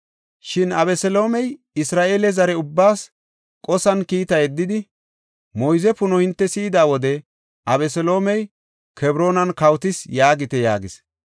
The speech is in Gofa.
Shin Abeseloomey Isra7eele zare ubbaas qosan kiita yeddidi, “Moyze puno hinte si7ida wode, ‘Abeseloomey Kebroonan kawotis’ yaagite” yaagis.